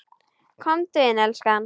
Komdu inn, elskan!